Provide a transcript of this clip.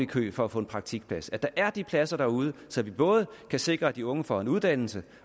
kø for at få en praktikplads at der er de pladser derude så vi både kan sikre at de unge får en uddannelse